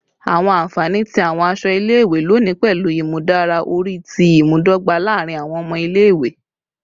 Awọn anfani ti awọn aṣọ ile-iwe loni pẹlu imudara ori ti imudogba laarin awọn ọmọ ile-iwe